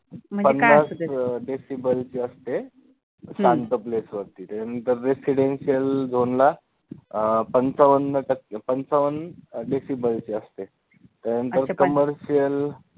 पन्नास decibel ची असते शांत place वरती त्याच्यानंतर residential zone ला अं पंचावन्न टक्के पंचावन्न decibel ची असते, त्याच्यानंतर commercial